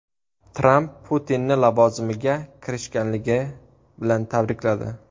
Tramp Putinni lavozimiga kirishganligi bilan tabrikladi.